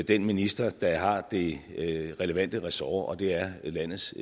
den minister der har det relevante ressort og det er landets